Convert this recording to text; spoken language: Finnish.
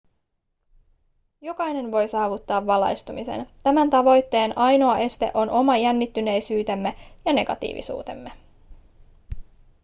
jokainen voi saavuttaa valaistumisen tämän tavoitteen ainoa este on oma jännittyneisyytemme ja negatiivisuutemme